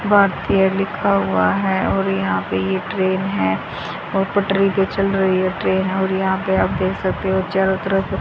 भारतीय लिखा हुआ है और यहां पे ये ट्रेन है और पटरी पे चल रही है ट्रेन है और यहां पे देख सकते हो चारों तरफ--